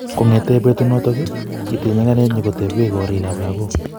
kongete petunoto, kitil nyikanet nyikotepe korikap lagoik